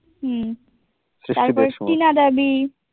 হুম তারপর টিনা দাবি